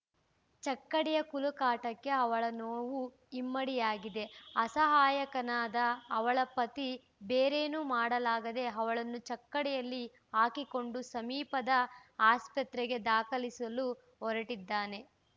ಚಕ್ಕಡಿಯ ಕುಲುಕಾಟಕ್ಕೆ ಅವಳ ನೋವು ಇಮ್ಮಡಿಯಾಗಿದೆ ಅಸಹಾಯಕನಾದ ಅವಳ ಪತಿ ಬೇರೇನೂ ಮಾಡಲಾಗದೆ ಅವಳನ್ನು ಚಕ್ಕಡಿಯಲ್ಲಿ ಹಾಕಿಕೊಂಡು ಸಮೀಪದ ಆಸ್ಪತ್ರೆಗೆ ದಾಖಲಿಸಲು ಹೊರಟಿದ್ದಾನೆ